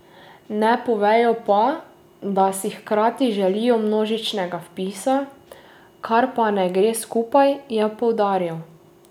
Ne povejo pa, da si hkrati želijo množičnega vpisa, kar pa ne gre skupaj, je poudaril.